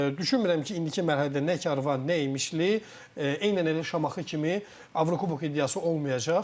Düşünmürəm ki, indiki mərhələdə nə Karvan, nə İmişli, eynən elə Şamaxı kimi Avrokubok iddiası olmayacaq.